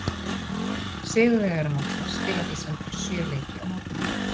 Sigurvegarar mótsins spila því samtals sjö leiki á mótinu.